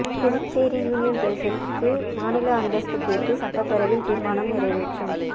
Puducherry union பிரதேசத்துக்கு மாநில அந்தஸ்து கேட்டு சட்டப்பேரவையில் தீர்மானம் நிறைவேற்றம்